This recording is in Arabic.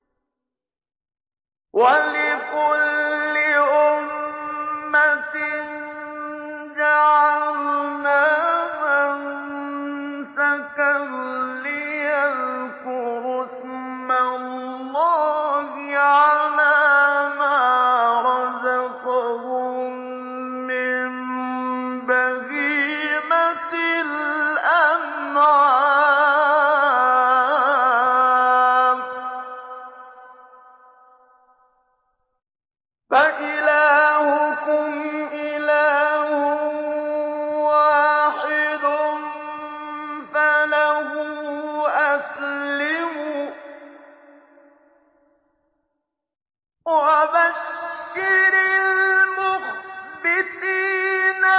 وَلِكُلِّ أُمَّةٍ جَعَلْنَا مَنسَكًا لِّيَذْكُرُوا اسْمَ اللَّهِ عَلَىٰ مَا رَزَقَهُم مِّن بَهِيمَةِ الْأَنْعَامِ ۗ فَإِلَٰهُكُمْ إِلَٰهٌ وَاحِدٌ فَلَهُ أَسْلِمُوا ۗ وَبَشِّرِ الْمُخْبِتِينَ